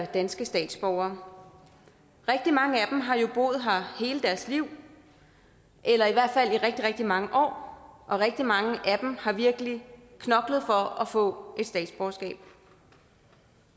danske statsborgere rigtig mange af dem har jo boet her hele deres liv eller i hvert fald i rigtig rigtig mange år og rigtig mange af dem har virkelig knoklet for at få et statsborgerskab